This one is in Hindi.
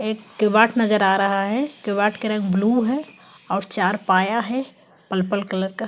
एक किवाट नजर आ रहा है किवाट के रंग ब्लू है और चार पाया है पलपल कलर का।